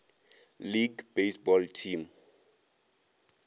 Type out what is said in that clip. league baseball team